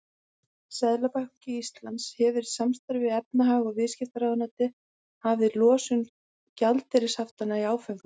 Seðlabanki Íslands hefur í samstarfi við efnahags- og viðskiptaráðuneytið hafið losun gjaldeyrishaftanna í áföngum.